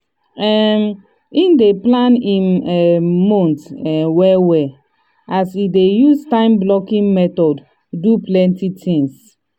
um him dey plan him um month um well well as e dey use time blocking method take do plenty things.